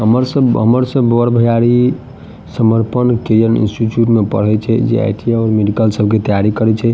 हमर सब हमर सब बड़ भैयारी समर्पण के अन इंस्टिट्यूट में पढ़े छै जे आई.टी.आई. और मेडिकल सब के तैयारी करे छै।